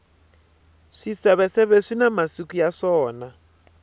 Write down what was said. swiseveseve swina masiku ya swona